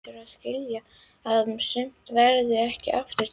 Hún hlýtur að skilja að sumt verður ekki aftur tekið.